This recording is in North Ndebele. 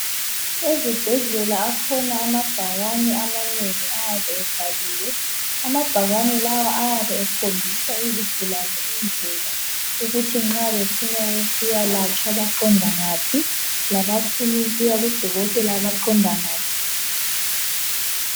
Ezibhedlela akhona amabhakane amanengi ayabe ebhaliwe. Amabhakane lawa ayabe ekhombisa izigulane indlela ukuthi nxa befuna ukuyalatshwa baqonda ngaphi labafuna ukuya kudokotela baqonda ngaphi.